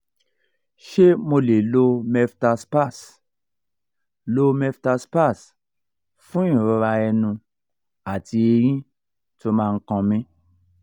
ṣé mo lè lo meftal spas lo meftal spas fún ìrora ẹnu àti eyín tó ma n kan mi?